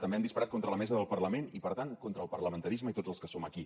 també han disparat contra la mesa del parlament i per tant contra el parlamentarisme i tots els que som aquí